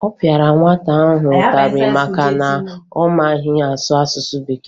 Ọ pịara nwata ahụ ụtarị maka na ọ maghị asụ asụsụ Bekee